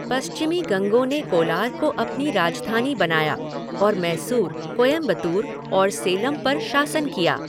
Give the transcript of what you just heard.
पश्चिमी गंगों ने कोलार को अपनी राजधानी बनाया और मैसूर, कोयंबतूर और सेलम पर शासन किया।